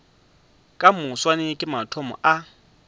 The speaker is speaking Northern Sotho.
ka moswane ke mathomo a